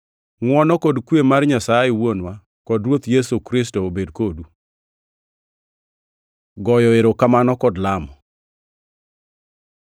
Ngʼwono kod kwe mar Nyasaye Wuonwa kod Ruoth Yesu Kristo, obed kodu. Goyo erokamano kod lamo